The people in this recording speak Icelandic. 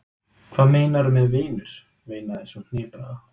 Hvað meinarðu með vinur? veinaði sú hnipraða.